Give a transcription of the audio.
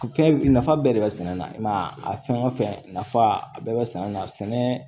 Fɛn nafa bɛɛ de bɛ sɛnɛ na i ma a fɛn o fɛn nafa a bɛɛ bɛ sɛnɛ na sɛnɛ